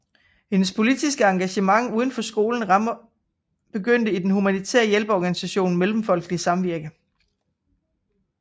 Hendes politiske engagement uden for skolens rammer begyndte i den humanitære hjælpeorganisation Mellemfolkeligt Samvirke